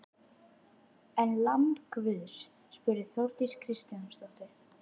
En lamb guðs? spurði Þórdís Kristjánsdóttir.